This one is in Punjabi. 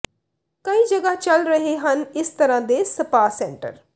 ਕਈ ਜਗ੍ਹਾ ਚੱਲ ਰਹੇ ਹਨ ਇਸ ਤਰ੍ਹਾਂ ਦੇ ਸਪਾ ਸੈਂਟਰ